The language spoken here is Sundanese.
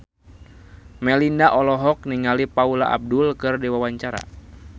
Melinda olohok ningali Paula Abdul keur diwawancara